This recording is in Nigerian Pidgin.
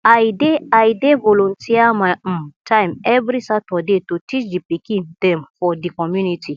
i dey i dey volunteer my um time every saturday to teach di pikin dem for di community